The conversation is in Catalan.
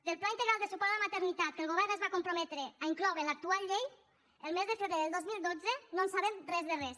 del pla integral de suport a la maternitat que el govern es va comprometre a incloure en l’actual llei el mes de febrer del dos mil dotze no en sabem res de res